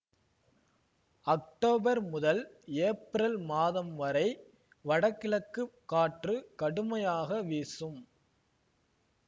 October முதல் April மாதம் வரை வடகிழக்கு காற்று கடுமையாக வீசும்